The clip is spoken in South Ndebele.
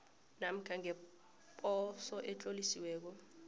namkha ngeposo etlolisiweko